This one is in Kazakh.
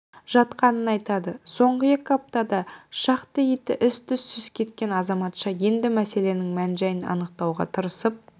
жатқанын айтады соңғы екі аптада шақты иті із-түзсіз кеткен азаматша енді мәселенің мән-жайын анықтауға тырысып